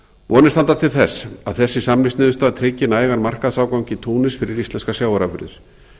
vonir standa til að þessi samningsniðurstaða tryggi nægan markaðsaðgang til túnis fyrir íslenskar sjávarafurðir